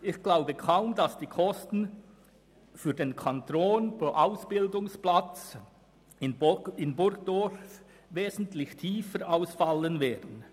Ich glaube kaum, dass die Kosten pro Ausbildungsplatz in Burgdorf wesentlich tiefer ausfallen werden.